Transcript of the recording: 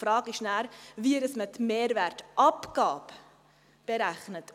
Die Frage ist dann, wie man die Mehrwertabgabe berechnet.